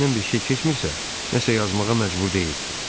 Ürəyindən bir şey keçmirsə, nəsə yazmağa məcbur deyilsən.